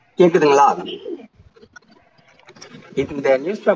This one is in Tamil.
கேக்குதுங்களா இந்த newspaper